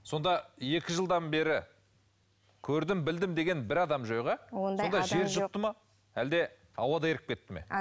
сонда екі жылдан бері көрдім білдім деген бір адам жоқ иә жер жұтты ма әлде ауада еріп кетті ме